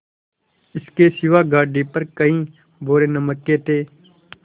इसके सिवा गाड़ी पर कई बोरे नमक के थे